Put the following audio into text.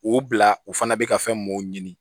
O bila u fana bɛ ka fɛn mun ɲini